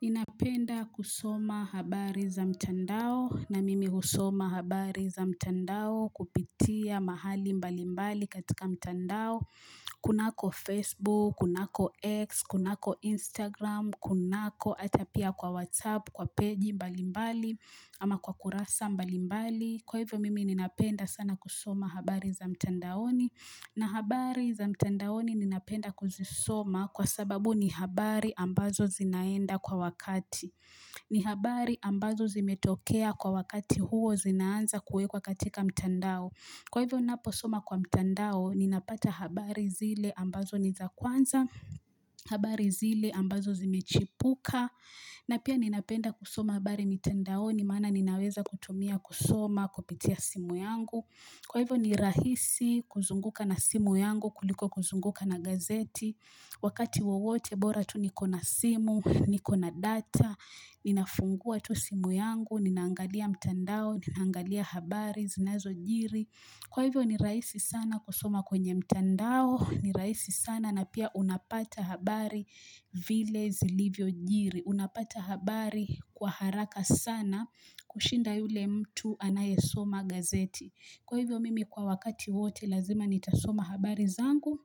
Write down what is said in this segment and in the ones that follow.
Ninapenda kusoma habari za mtandao na mimi husoma habari za mtandao kupitia mahali mbali mbali katika mtandao. Kunako Facebook, kunako X, kunako Instagram, kunako ata pia kwa WhatsApp, kwa page mbali mbali ama kwa kurasa mbali mbali. Kwa hivyo mimi ninapenda sana kusoma habari za mtandaoni na habari za mtandaoni ninapenda kuzisoma Kwa sababu ni habari ambazo zinaenda kwa wakati ni habari ambazo zimetokea kwa wakati huo zinaanza kuekwa katika mtandao Kwa hivyo ninapo soma kwa mtandao ninapata habari zile ambazo ni za kwanza habari zile ambazo zimechipuka na pia ninapenda kusoma habari mtandaoni maana ninaweza kutumia kusoma, kupitia simu yangu. Kwa hivyo ni rahisi kuzunguka na simu yangu, kuliko kuzunguka na gazeti. Wakati wowote, bora tu nikona simu, nikona data, ninafungua tu simu yangu, ninaangalia mtandao, ninaangalia habari, zinazojiri. Kwa hivyo ni rahisi sana kusoma kwenye mtandao, ni rahisi sana, na pia unapata habari vile zilivyo jiri. Unapata habari kwa haraka sana kushinda yule mtu anayesoma gazeti. Kwa hivyo mimi kwa wakati wote lazima nitasoma habari zangu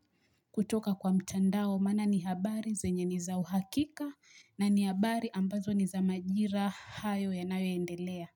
kutoka kwa mtandao. Maana ni habari zenye ni za uhakika na ni habari ambazo ni za majira hayo yanayo endelea.